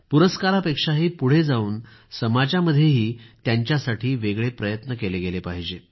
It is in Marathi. पुरस्कारापेक्षा पुढे जावून समाजामध्येंही त्यांच्यासाठी वेगळे प्रयत्न केले गेले पाहिजेत